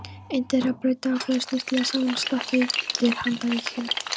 Einn þeirra braut dagblaðið snyrtilega saman og stakk undir handarkrikann.